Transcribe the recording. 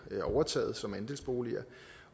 bliver overtaget som andelsboliger